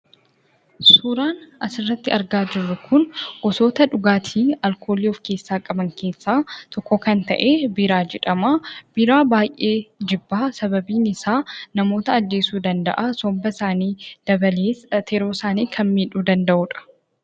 Suuraan asirratti argaa jirru kun dhugaatii alkoolii of keessaa qaban keessaa tokko kan ta'e biiraa jedhama. Biiraa baay'een jibba sababni isaas namoota ajjeesuu danda'a. somba isaanii dabalee akkasumas tiruu isaanii miidhuu kan danda'udha.